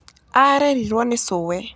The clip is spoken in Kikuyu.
Aarerirũo nĩ cũwe.